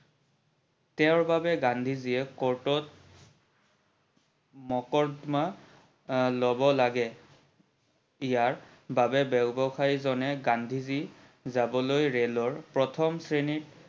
তেওৰ বাবে গান্ধীজিয়ে court ত মকৰ্দমা লব লাগে ইয়াৰ বাবে ব্যবসায়ী জনে গান্ধীজি যাবলৈ ৰেলৰ প্ৰথম শ্ৰেণীত